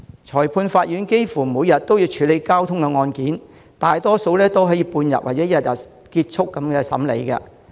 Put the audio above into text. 裁判法院幾乎每日都處理交通案件，大多數案件可以在半日或一日內完成審理。